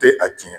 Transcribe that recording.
Tɛ a tiɲɛ